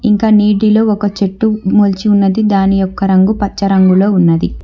ఇంక నీటిలో ఒక చెట్టు మొలచి ఉన్నది దాని యొక్క రంగు పచ్చ రంగులో ఉన్నది.